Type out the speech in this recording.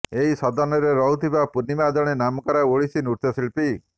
ଏହି ସଦନରେ ରହୁଥିବା ପୂର୍ଣ୍ଣିମା ଜଣେ ନାମକରା ଓଡିଶୀ ନୃତ୍ୟଶିଳ୍ପୀ